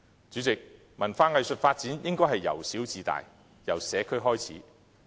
主席，文化藝術發展應是由小至大，由社區開始。